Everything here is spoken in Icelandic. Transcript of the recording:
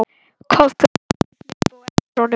Kobbi og Baddi hlupu á eftir honum.